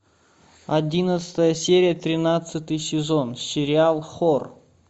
одиннадцатая серия тринадцатый сезон сериал хор